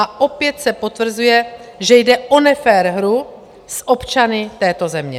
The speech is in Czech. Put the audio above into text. A opět se potvrzuje, že jde o nefér hru s občany této země.